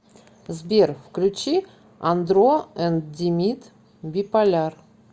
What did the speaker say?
сбер включи андро энд димит биполяр